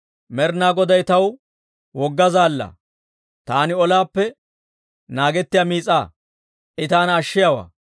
«Med'inaa Goday taw wogga zaallaa; Taani ollaappe naagettiyaa miis'aa; I taana ashshiyaawaa.